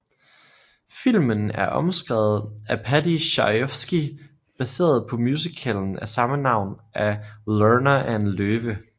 Filmen er omskrevet af Paddy Chayefsky baseret på musicalen af samme navn af Lerner and Loewe